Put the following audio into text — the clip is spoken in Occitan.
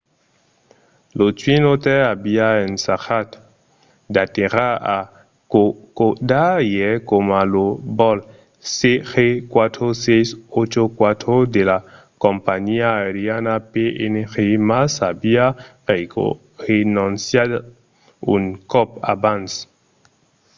lo twin otter aviá ensajat d’aterrar a kokoda ièr coma lo vòl cg4684 de la companhiá aeriana png mas aviá renonciat un còp abans